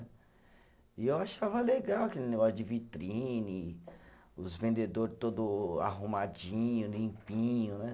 E eu achava legal aquele negócio de vitrine, os vendedor todo arrumadinho, limpinho, né?